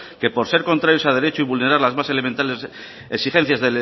que por ser contrarios a derecho y vulnerar las más elementares exigencia